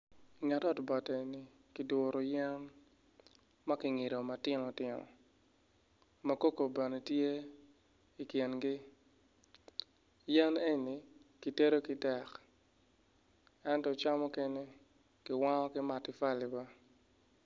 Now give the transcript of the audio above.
I nget ot bati enni ki duru yen ma kingidoo matino tino makoko bene tye i kingi yen enni ki tedo ki dek ento ca mukene kiwango ki matifuli be